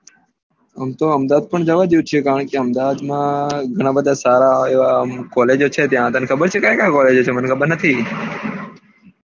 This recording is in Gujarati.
એમ તો અહમદાવાદ પણ જવા જેવું છે કારણકે અહમદાવાદ માં માં ઘણા બધા સારા એવા college છે તને ખબર છે ક્યાં ક્યાં college છે મને ખબર નથી